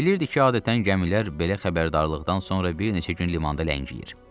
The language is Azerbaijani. Bilirdik ki, adətən gəmilər belə xəbərdarlıqdan sonra bir neçə gün limanda ləngiyir.